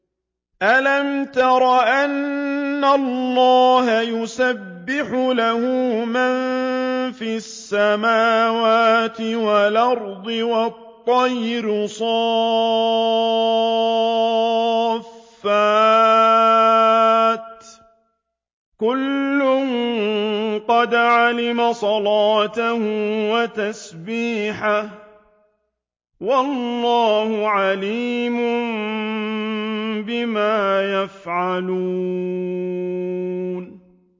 أَلَمْ تَرَ أَنَّ اللَّهَ يُسَبِّحُ لَهُ مَن فِي السَّمَاوَاتِ وَالْأَرْضِ وَالطَّيْرُ صَافَّاتٍ ۖ كُلٌّ قَدْ عَلِمَ صَلَاتَهُ وَتَسْبِيحَهُ ۗ وَاللَّهُ عَلِيمٌ بِمَا يَفْعَلُونَ